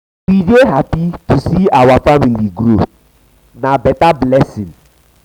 we dey happy to see sey our see sey our family dey grow na blessing.